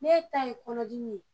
N'e ta ye kɔnɔ dimi ye.